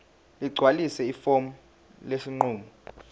ligcwalise ifomu lesinqumo